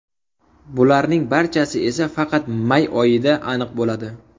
Bularning barchasi esa faqat may oyida aniq bo‘ladi.